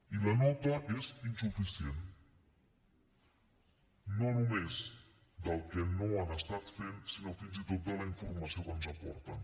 i la nota és insuficient no només del que no han estat fent sinó fins i tot de la informació que ens aporten